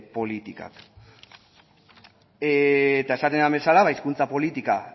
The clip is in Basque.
politikak eta esaten naben bezala hizkuntza politika